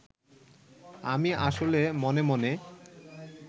আমি আসলে মনে মনে